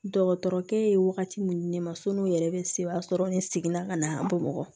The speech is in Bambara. Dɔgɔtɔrɔkɛ ye wagati min di ne ma sɔn'o yɛrɛ bɛ se o y'a sɔrɔ ne seginna ka na an bamakɔ